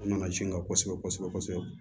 U nana sin kan kosɛbɛ kosɛbɛ